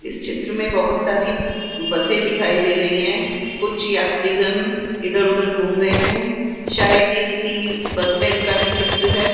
इस चित्र में बहोत सारी बसें दिखाई दे रही हैं कुछ यात्री गण इधर उधर घूम रहे हैं शायद यह किसी बस स्टैंड का ही चित्र है।